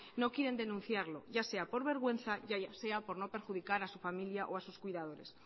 no quieren denunciarlo ya sea por vergüenza ya sea por no perjudicar a su familia o a sus cuidadores